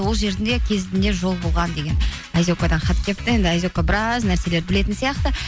ол жерінде кезінде жол болған деген айзекадан хат келіпті енді айзека біраз нәрселерді білетін сияқты